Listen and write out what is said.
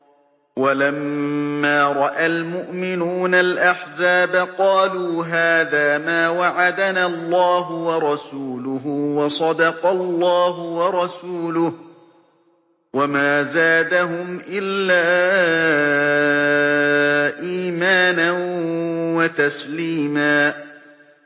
وَلَمَّا رَأَى الْمُؤْمِنُونَ الْأَحْزَابَ قَالُوا هَٰذَا مَا وَعَدَنَا اللَّهُ وَرَسُولُهُ وَصَدَقَ اللَّهُ وَرَسُولُهُ ۚ وَمَا زَادَهُمْ إِلَّا إِيمَانًا وَتَسْلِيمًا